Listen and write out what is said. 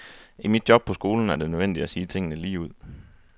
I mit job på skolen er det nødvendigt at sige tingene lige ud.